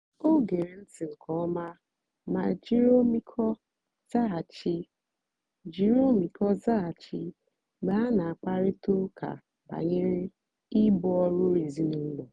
o gèrè ntị́ nkè ọ̀ma mà jìrì ọ́mị́íkọ́ zághachì jìrì ọ́mị́íkọ́ zághachì mgbe ha na-àkpárị̀ta ụ́ka bànyèrè ìbù ọ́rụ́ èzìnílọ́.